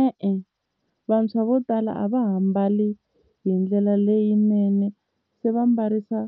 E-e, vantshwa vo tala a va ha mbali hi ndlela leyinene se va mbarisa